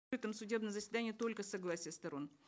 этом судебном заседании только согласие сторон